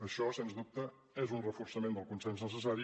això sens dubte és un reforçament del consens necessari